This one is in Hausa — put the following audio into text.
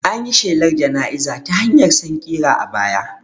An yi shelar jana'izar ta hanyar sankira a baya